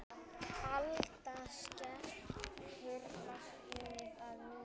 Alda skekur vatnið að nýju.